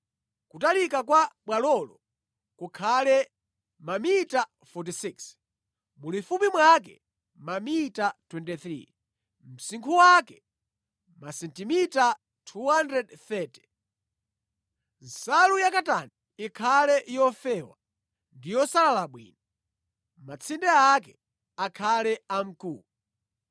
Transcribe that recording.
Kutalika kwa bwalolo kukhale mamita 46, mulifupi mwake mamita 23, msinkhu wake masentimita 230. Nsalu ya katani ikhale yofewa ndi yosalala bwino. Matsinde ake akhale amkuwa.